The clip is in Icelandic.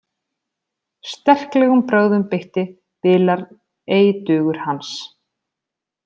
Sterklegum brögðum beitti bilar ei dugur hans.